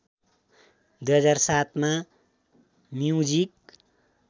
२००७ मा म्युजिक